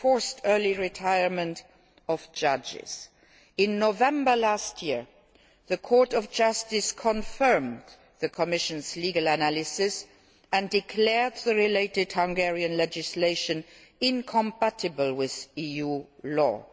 forced early retirement of judges. In November last year, the Court of Justice confirmed the Commission's legal analysis and declared the relevant Hungarian legislation incompatible with EU